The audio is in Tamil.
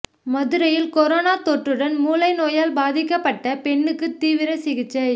மதுரையில் கரோனா தொற்றுடன் மூளை நோயால் பாதிக்கப்பட்ட பெண்ணுக்கு தீவிர சிகிச்சை